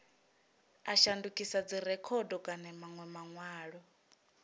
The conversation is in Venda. a shandukisa dzirekhodo kana manwe manwalo